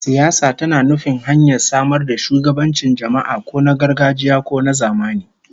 Siyasa tana nufin hanyar samar da shugabancin jama'a, ko na gargajiya ko na zamani